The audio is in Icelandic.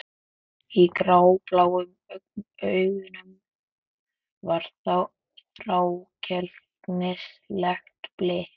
Í grábláum augunum var þrákelknislegt blik.